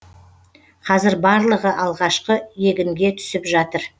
қазір барлығы алғашқы егінге түсіп жатыр